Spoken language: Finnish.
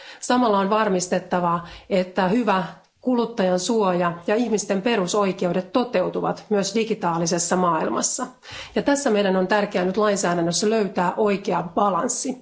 Samalla on varmistettava, että hyvä kuluttajansuoja ja ihmisten perusoikeudet toteutuvat myös digitaalisessa maailmassa, ja tässä meidän on tärkeää nyt lainsäädännössä löytää oikea balanssi.